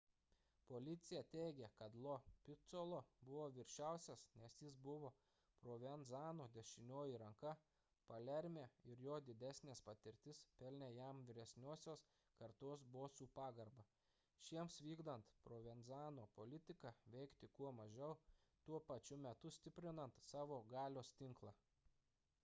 policija teigė kad lo piccolo buvo viršiausias nes jis buvo provenzano dešinioji ranka palerme ir jo didesnė patirtis pelnė jam vyresniosios kartos bosų pagarbą šiems vykdant provenzano politiką veikti kuo mažiau tuo pačiu metu stiprinant savo galios tinklą